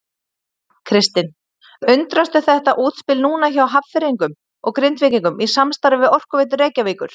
Kristinn: Undrastu þetta útspil núna hjá Hafnfirðingum og Grindvíkingum í samstarfi við Orkuveitu Reykjavíkur?